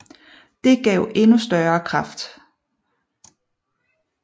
Det gav en endnu større kraft